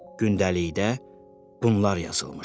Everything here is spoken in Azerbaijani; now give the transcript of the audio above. Gündəlikdə bunlar yazılmışdı.